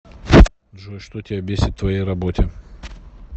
джой что тебя бесит в твоей работе